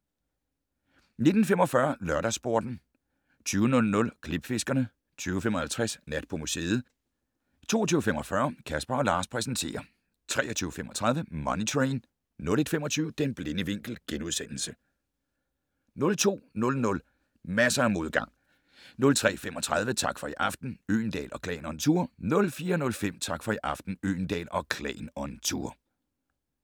19:45: LørdagsSporten 20:00: Klipfiskerne 20:55: Nat på museet 22:45: Casper & Lars præsenterer 23:35: Money Train 01:25: Den blinde vinkel * 02:00: Masser af modgang 03:35: Tak for i aften - Øgendahl & Klan on tour 04:05: Tak for i aften - Øgendahl & Klan on tour